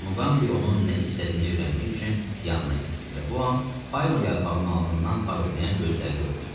Muqambi onun nə istədiyini öyrənmək üçün yanına getdi və bu an payma yarpağının altından parıldayan gözləri gördü.